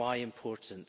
Why important?